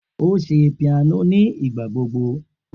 O ṣe piano nigbagbogbo.